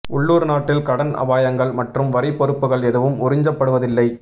உள்ளூர் நாட்டில் கடன் அபாயங்கள் மற்றும் வரி பொறுப்புகள் எதுவும் உறிஞ்சப்படுவதில்லை